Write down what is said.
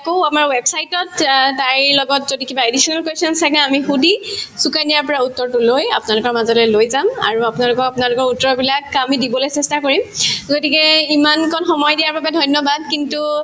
কো আমাৰ website তত তাইৰ লগত যদি কিবা additional questions থাকে আমি সুধি সুকন্যাৰ পৰা উত্তৰতো লৈ আপোনালোকৰ মাজলৈ যাম আৰু আপোনালোকক আপোনালোকৰ উত্তৰ বিলাক আমি দিবলে চেষ্টা কৰিম গতিকে ইমানকন সময় দিয়াৰ বাবে ধন্যবাদ কিন্তু